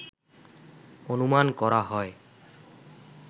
অনুমান করা হয়